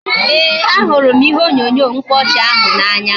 Ee, a hụrụ m ihe onyonyo mkpaọchị ahụ n'anya